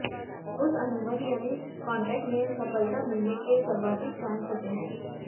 उस अनुबंध यानी कॉन्ट्रैक्ट में सफलता मिलने के सर्वाधिक चांस होते हैं